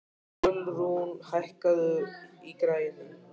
Ölrún, hækkaðu í græjunum.